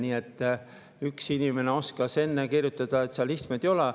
Nii et üks inimene oskas enne kirjutada, et seal istmeid ei ole.